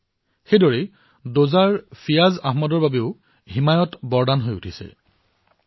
ঠিক সেইদৰে ডোডাৰ ফিয়াজ আহমেদৰ বাবেও হিমায়ৎ বৰদান হিচাপে বিবেচিত হৈছে